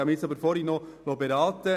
Ich liess mich zuvor noch beraten.